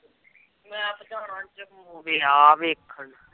ਮੈ ਵੀ ਜਾਣਾ